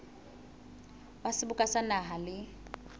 wa seboka sa naha le